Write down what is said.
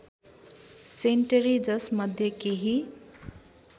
sanitary जसमध्ये केही